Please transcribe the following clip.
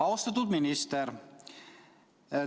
Austatud minister!